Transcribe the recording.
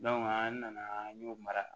an nana an y'o mara